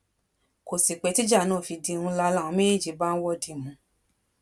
kò sí pé tíjà náà fi di ńlá làwọn méjèèjì bá ń wọdìmù